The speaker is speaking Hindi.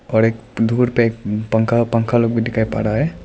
और एक धूर पे पंखा पंखा लोग भी दिखाई पड़ रहा है।